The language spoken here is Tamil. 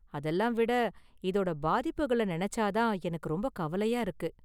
அதெல்லாம் விட, இதோட​ பாதிப்புகள நெனைச்சா தான் எனக்கு ரொம்ப​ கவலையா இருக்கு.